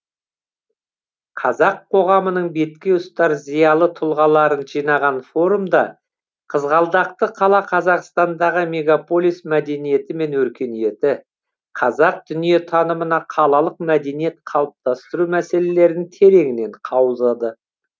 қазақ қоғамының бетке ұстар зиялы тұлғаларын жинаған форумда қызғалдақты қала қазақстандағы мегополис мәдениеті мен өркениеті қазақ дүниетанымына қалалық мәдениет қалыптастыру мәселелерін тереңінен қаузады